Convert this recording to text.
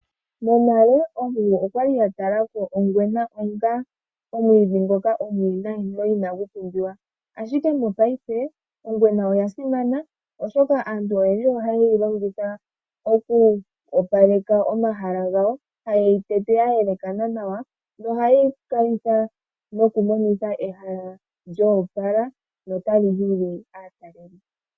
Monale oomeme okwali ya tala ko ongwena onga omwiidhi ngoka omuwinayi no inagu pumbiwa ashike mopaife ongwena oya simana oshoka aantu oyendji ohaye yi longitha oku opaleka omahala gayo taye yi tete ya yelekana nawa, ohayi kalitha nokumonitha ehala lyo opala no ta li hili aatalelipo.